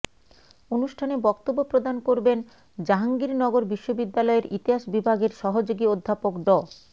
অনুষ্ঠানে বক্তব্য প্রদান করবেন জাহাঙ্গীরনগর বিশ্ববিদ্যালয়ের ইতিহাস বিভাগের সহযোগী অধ্যাপক ড